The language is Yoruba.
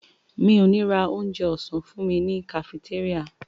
Mi ò ní ra onjẹ ọ̀sán fúnmi ní kafitéríà.